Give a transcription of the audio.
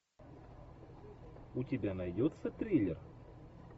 у тебя найдется триллер